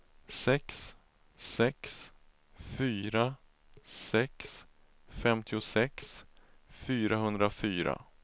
sex sex fyra sex femtiosex fyrahundrafyra